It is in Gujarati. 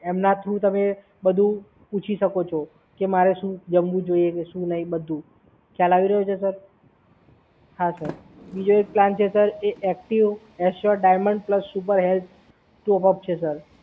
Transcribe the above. એમના થ્રુ તમે બધુ પૂછી શકો છો કે મારે શું જમવું જોઈએ કે શું નહીં એ બધુ. ખ્યાલ આવી રહ્યો છે સર? હા સર બીજો એક પ્લાન છે સર એ active assure diamond plus super health એ પણ છે સર.